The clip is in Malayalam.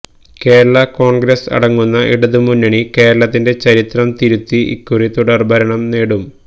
കേരള കോൺഗ്രസ് അടങ്ങുന്ന ഇടതു മുന്നണി കേരളത്തിന്റെ ചരിത്രം തിരുത്തി ഇക്കുറി തുടർ ഭരണം നേടും